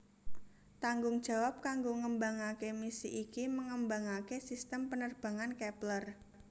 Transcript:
Tanggung jawab kanggo ngembangaké misi iki mengembangaké sistem penerbangan Kepler